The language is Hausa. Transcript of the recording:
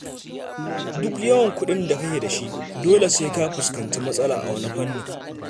Duk yawan kuɗin da kake da shi, dole sai ka fuskanci matsala a wani fannin.